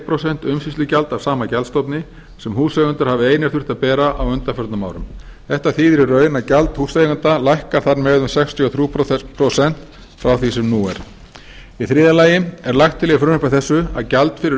prósent umsýslugjald af sama gjaldstofni sem húseigendur hafa einir þurft að bera á undanförnum árum þetta þýðir í raun að gjald húseigenda lækkar þar með um sextíu og þrjú prósent frá því sem nú er í þriðja lagi er lagt til í frumvarpi þessu að gjald fyrir